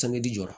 ji jɔra